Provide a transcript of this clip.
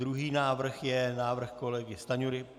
Druhý návrh je návrh kolegy Stanjury.